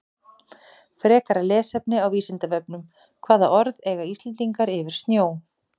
Frekara lesefni á Vísindavefnum Hvaða orð eiga Íslendingar yfir snjó?